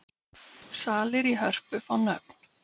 Salir í Hörpu fá nöfn